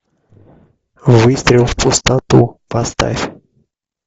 выстрел в пустоту поставь